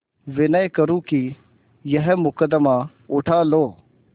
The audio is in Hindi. विनय करुँ कि यह मुकदमा उठा लो